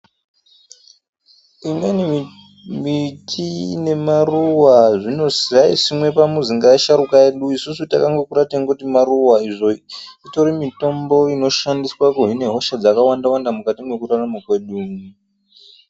Imweni miti ine maruwa dzaisimwa pamuzi ngevasharukwa vedu isusu takangokura teiti maruwa izvo itori mitombo inoshandiswa kuhina hosha dzakawanda wanda mukati mwekurarama kwedu.